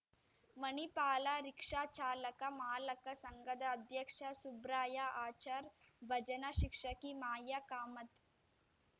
Manipal rickshaw ಚಾಲಕ ಮಾಲಕ ಸಂಘದ ಅಧ್ಯಕ್ಷ ಸುಬ್ರಾಯ ಆಚಾರ್ ಭಜನಾ ಶಿಕ್ಷಕಿ ಮಾಯಾ ಕಾಮತ್